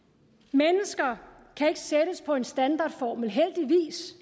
mennesker kan ikke sættes på en standardformel heldigvis